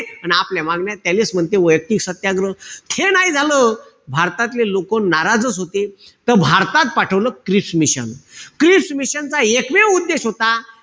अन आपल्या मागण्या, त्यालेच म्हणते वैयक्तिक सत्याग्रह. हे नाई झालं. भारतातले लोकं नाराजच होते. त भारतात पाठवलं क्रिस मिशन. क्रिस मिशन चा एकमेव उद्देश होता.